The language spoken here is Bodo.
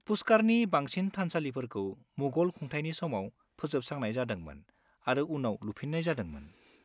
पुष्कारनि बांसिन थानसालिफोरखौ मुगल खुंथायनि समाव फोजोबस्रांनाय जादोंमोन आरो उनाव लुफिननाय जादोंमोन।